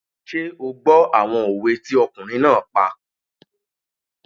Ṣé o gbọ́ àwọn òwe tí ọkùnrin náà pa?